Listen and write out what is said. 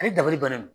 Ale dabali bannen do